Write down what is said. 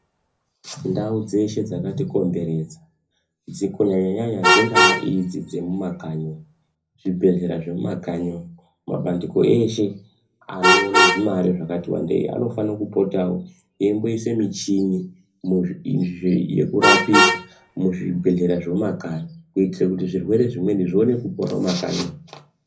Ndau dzeshe dzakatikomberedza kunyanya dzingaa idzi dzemumakanyi zvibhedhlera zvemumakanyi mabandiko eshe anoone zvimare zvakati wandei anofanira kupotawo eiimboisa michini yekurapisa muzvibhedhlera zvemumakanyi kuitire kuti zvirwere zvimweni zvione kupora mumakanyi umu.